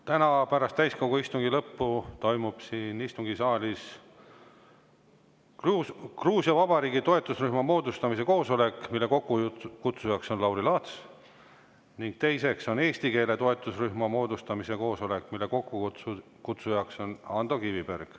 Täna pärast täiskogu istungi lõppu toimub siin istungisaalis Gruusia Vabariigi toetusrühma moodustamise koosolek, mille kokkukutsuja on Lauri Laats, ning teiseks toimub siin eesti keele toetusrühma moodustamise koosolek, mille kokkukutsuja on Ando Kiviberg.